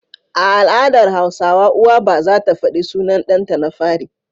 A al'adar hausawa uwa ba zata faɗi sunan ɗan ta na fari